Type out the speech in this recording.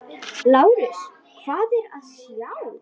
LÁRUS: Hvað er að sjá?